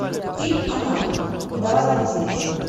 фильм она давай я посмотрю